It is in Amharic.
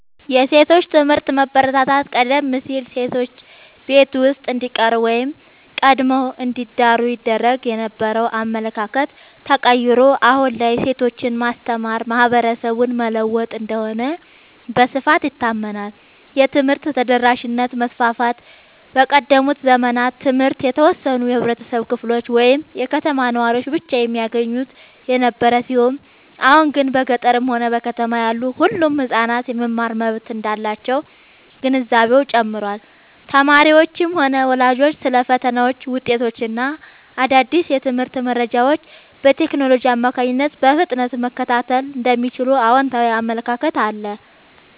የሴቶች ትምህርት መበረታታት፦ ቀደም ሲል ሴቶች ቤት ውስጥ እንዲቀሩ ወይም ቀድመው እንዲዳሩ ይደረግ የነበረው አመለካከት ተቀይሮ፣ አሁን ላይ ሴቶችን ማስተማር ማህበረሰብን መለወጥ እንደሆነ በስፋት ይታመናል። የትምህርት ተደራሽነት መስፋፋት፦ በቀደሙት ዘመናት ትምህርት የተወሰኑ የህብረተሰብ ክፍሎች ወይም የከተማ ነዋሪዎች ብቻ የሚያገኙት የነበረ ሲሆን፣ አሁን ግን በገጠርም ሆነ በከተማ ያሉ ሁሉም ህጻናት የመማር መብት እንዳላቸው ግንዛቤው ጨምሯል። ተማሪዎችም ሆኑ ወላጆች ስለ ፈተናዎች፣ ውጤቶች እና አዳዲስ የትምህርት መረጃዎች በቴክኖሎጂ አማካኝነት በፍጥነት መከታተል እንደሚችሉ አዎንታዊ አመለካከት አለ።